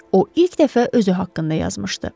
O ilk dəfə özü haqqında yazmışdı.